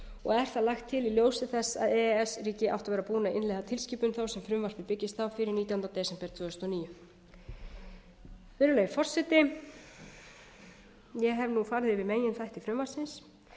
og er þar lagt til í ljósi þess að e e s ríki áttu að vera búin að innleiða tilskipun þá sem frumvarpið byggist á fyrir nítjánda desember tvö þúsund og níu virðulegi forseti ég hef farið yfir meginþætti frumvarpsins